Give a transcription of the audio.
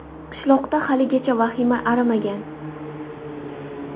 Qishloqda haligacha vahima arimagan.